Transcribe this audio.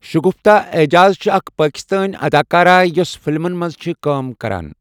شُغفتا ایجاز چھِ اَکھ پاکِستٲنؠ اَداکارہ یۄس فِلمَن مَنٛز چھِ کٲم کَران